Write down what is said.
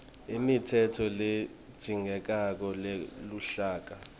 imitsetfo ledzingekako yeluhlaka